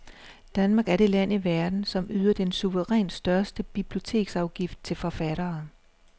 Danmark er det land i verden, som yder den suverænt største biblioteksafgift til forfattere.